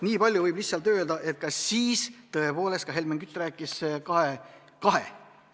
Niipalju võib lihtsalt öelda, et ka siis tõepoolest Helmen Kütt rääkis kahe – kahe!